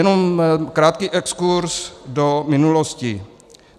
Jenom krátký exkurz do minulosti.